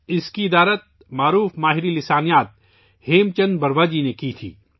اس کی تدوین ممتاز ماہر لسانیات ہیم چندر بروا جی نے کی تھی